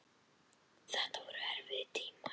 Þetta voru erfiðir tímar.